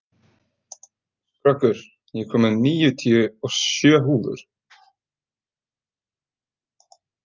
Skröggur, ég kom með níutíu og sjö húfur!